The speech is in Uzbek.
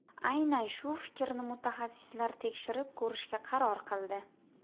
Aynan shu fikrni mutaxassislar tekshirib ko‘rishga qaror qildi.